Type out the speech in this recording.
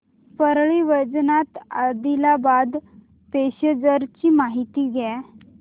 Parli Vaijnath Adilabad passenger ची माहिती द्या